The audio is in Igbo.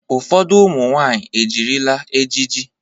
Ụfọdụ ụmụ nwaanyị ejirila ejiji.